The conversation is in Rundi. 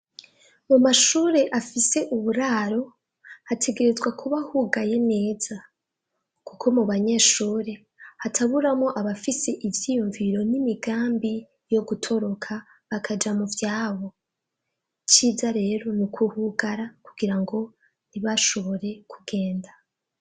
Mu mashure afise uburaro hategerezwa kuba hugaye neza kuko mu banyeshure hataburamwo abafise ivyiyumviro n'imigambi yo gutoroka bakaja mu vyabo. Iciza rero ni ukuhugara kugira ngo ntibashobore kugenda.